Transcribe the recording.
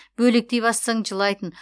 бөлектей бастасаң жылайтын